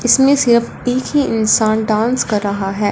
इसमें से अब एक ही इंसान डांस कर रहा है।